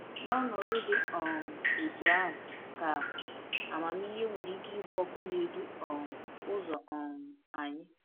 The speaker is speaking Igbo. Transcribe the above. N’ọnọdụ dị um otú ahụ ka amamihe nwere ike ịbụ ọkụ na-edu um ụzọ um anyị.